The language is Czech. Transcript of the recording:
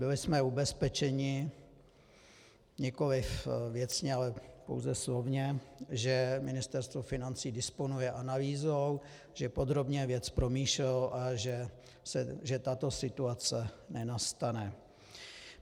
Byli jsme ubezpečeni, nikoliv věcně, ale pouze slovně, že Ministerstvo financí disponuje analýzou, že podrobně věc promýšlelo a že tato situace nenastane.